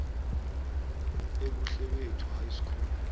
ebuhlebethu high school